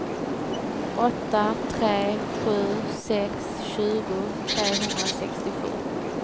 åtta tre sju sex tjugo trehundrasextiosju